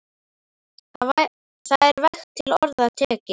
Það er vægt til orða tekið.